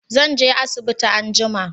zan je asibiti anjima